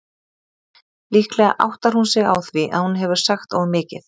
Líklega áttar hún sig á því að hún hefur sagt of mikið.